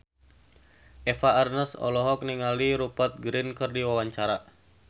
Eva Arnaz olohok ningali Rupert Grin keur diwawancara